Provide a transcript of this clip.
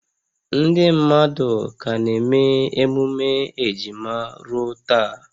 Ndị mmadụ ka na-eme emume ejima ruo taa